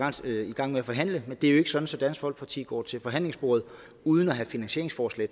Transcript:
gang med at forhandle det er jo ikke sådan at dansk folkeparti går til forhandlingsbordet uden at have finansieringsforslag